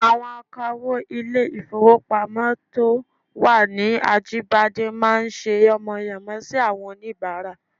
Àwọn akawó ilé-ìfowópamọ́ to wà ní Ajíbádé máa ń ṣe yánmọyànmọ sí àwọn oníbàárà